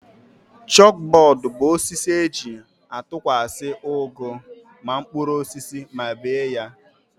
Chọp bọọdụ bụ osisi e ji a tụkwasị ụgụ na mkpụrụosisi ma bie ha